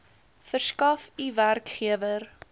verskaf u werkgewer